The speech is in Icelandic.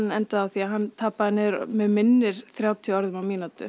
endaði með því að hann tapaði niður að mig minnir þrjátíu orðum á mínútu